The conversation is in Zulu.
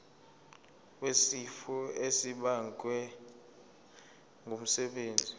wesifo esibagwe ngumsebenzi